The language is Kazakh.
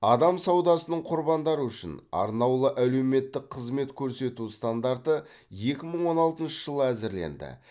адам саудасының құрбандары үшін арнаулы әлеуметтік қызмет көрсету стандарты екі мың он алтыншы жылы әзірленді